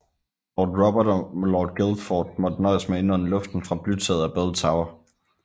Lord Robert og Lord Guildford måtte nøjes med at indånde luften fra blytaget af Bell Tower